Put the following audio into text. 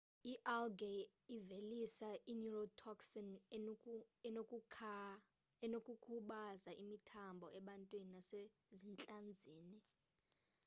i-algae ivelisa i-neurotoxin enokukhubaza imithambo ebantwini nasezintlanzini